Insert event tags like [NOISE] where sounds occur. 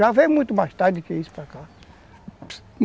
[UNINTELLIGIBLE] muito mais tarde que isso para cá.